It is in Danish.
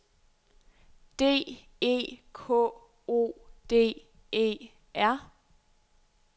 D E K O D E R